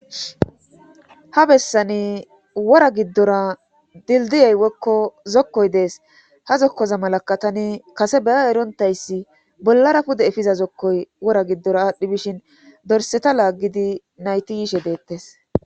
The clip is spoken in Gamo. Ha bessani wora giddora dildiyay wokko zokkoy dees ha zokkoza malakka tani kase beya erontayssi bollara pude efiza zokkoy wora giddora aadhdhi bishin dorseta laaggidi nayti yiishe deettes